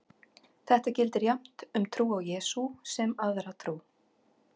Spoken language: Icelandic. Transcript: Þetta gildir jafnt um trú á Jesú sem aðra trú.